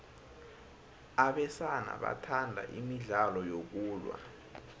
abesana bathanda imidlalo yokulwa